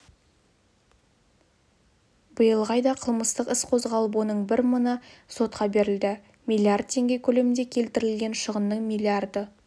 биылғы айда қылмыстық іс қозғалып оның бір мыңы сотқа берілді миллиард теңге көлемінде келтірілген шығынның миллиарды